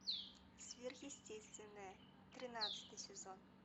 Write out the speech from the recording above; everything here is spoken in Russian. сверхъестественное тринадцатый сезон